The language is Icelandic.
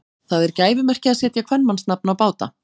Það er gæfumerki að setja kvenmannsnafn á báta.